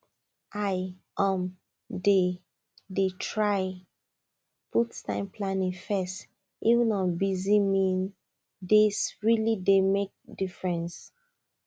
i um dey dey try put time planning first even on busy mean days really dey make difference